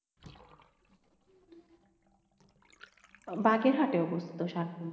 বাগেরহাটে অবস্থিত ষাটগম্বুজ।